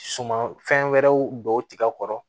Suman fɛn wɛrɛw don tigɛ kɔrɔ